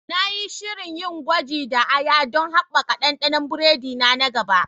Na yi shirin yin gwaji da aya don haɓaka ɗanɗanon biredi na na gaba.